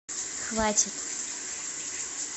хватит